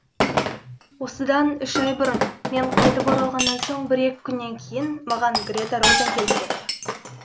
осыдан үш ай бұрын мен қайтып оралғаннан соң бір екі күннен кейін маған грета розен келіп кетті